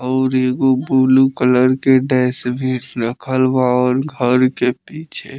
और एगो blue colour के डैस बिन रखल बा और घर के पीछे --